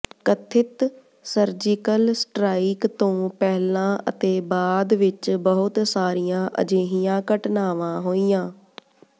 ਕਥਿਤ surgical strike ਤੋਂ ਪਹਿਲਾਂ ਅਤੇ ਬਾਅਦ ਵਿੱਚ ਬਹੁਤ ਸਾਰੀਆਂ ਅਜਿਹੀਆਂ ਘਟਨਾਵਾਂ ਹੋਈਆਂ